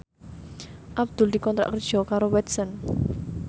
Abdul dikontrak kerja karo Watson